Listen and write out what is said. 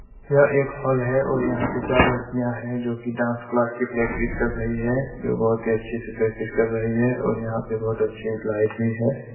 यह एक हॉल हैं और यहाँ पे चार लड़कियाँ हैं जो कि डांस क्लास की प्रैक्टिस कर रही हैं जो बहोत ही अच्छे से प्रैक्टिस कर रही हैं और यहाँ पे बहोत अच्छी एक लाइट भी हैं।